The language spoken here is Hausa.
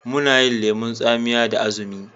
Muna yin lemon tsamiya da azumi.